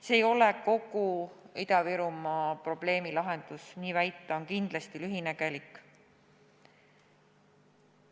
See ei ole kogu Ida-Virumaa probleemi lahendus, nii väita on kindlasti lühinägelik.